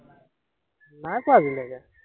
নাই পোৱা আজিলেকে